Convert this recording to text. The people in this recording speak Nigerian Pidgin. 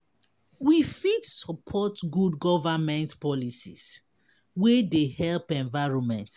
We fit support good government policies wey dey help environment